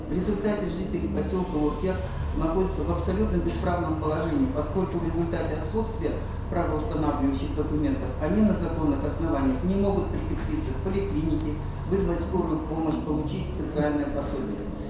в результате жители поселка уркер находятся в абсолютно бесправном положении поскольку в результате отсутствия правоустанавливающих документов они на законных основаниях не могут прикрепиться к поликлинике вызвать скорую помощь получить социальное пособие